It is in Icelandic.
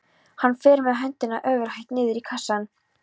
Hann fer með höndina ofurhægt niður í kassann.